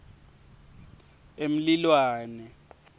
emlilwane